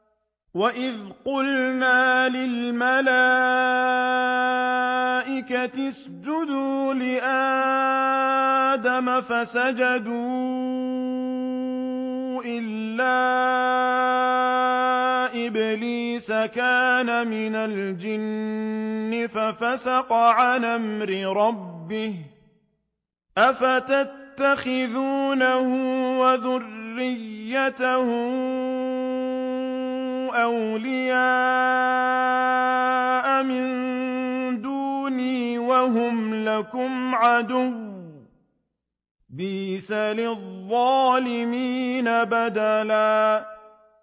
وَإِذْ قُلْنَا لِلْمَلَائِكَةِ اسْجُدُوا لِآدَمَ فَسَجَدُوا إِلَّا إِبْلِيسَ كَانَ مِنَ الْجِنِّ فَفَسَقَ عَنْ أَمْرِ رَبِّهِ ۗ أَفَتَتَّخِذُونَهُ وَذُرِّيَّتَهُ أَوْلِيَاءَ مِن دُونِي وَهُمْ لَكُمْ عَدُوٌّ ۚ بِئْسَ لِلظَّالِمِينَ بَدَلًا